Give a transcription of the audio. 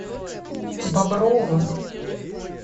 бобровым